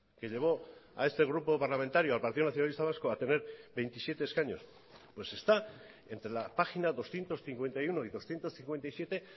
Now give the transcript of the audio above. que llevó a este grupo parlamentario al partido nacionalista vasco a tener veintisiete escaños pues está entre la página doscientos cincuenta y uno y doscientos cincuenta y siete